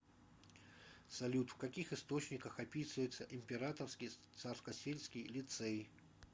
салют в каких источниках описывается императорский царскосельский лицей